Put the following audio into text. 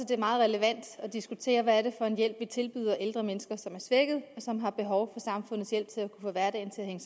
det er meget relevant at diskutere hvad det er for en hjælp vi tilbyder ældre mennesker som er svækket og som har behov for samfundets hjælp til at få hverdagen